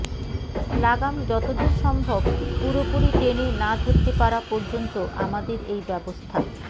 লাগাম যতদূর সম্ভব পুরোপুরি টেনে না ধরতে পারা পর্যন্ত আমাদের এই ব্যবস্থা